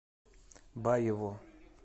баеву